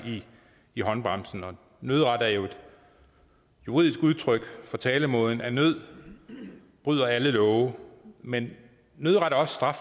i håndbremsen nødret er jo et juridisk udtryk for talemåden at nød bryder alle love men nødret er